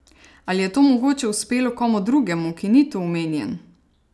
Ali je to mogoče uspelo komu drugemu, ki ni tu omenjen?